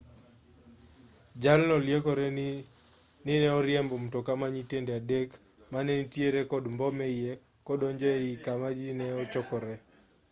jalno liekore ni ne oriembo mtoka ma nyatiende adek mane nitiere kod mbom eiye kodonjogo ei kama ji ne ochokore